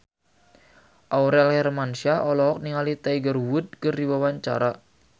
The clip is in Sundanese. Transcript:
Aurel Hermansyah olohok ningali Tiger Wood keur diwawancara